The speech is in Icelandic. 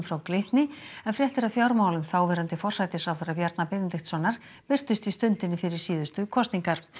frá Glitni en fréttir af fjármálum þáverandi forsætisráðherra Bjarna Benediktssonar birtust í Stundinni fyrir síðustu kosningar